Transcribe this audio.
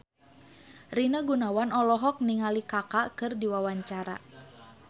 Rina Gunawan olohok ningali Kaka keur diwawancara